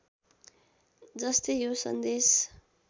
जस्तै यो सन्देश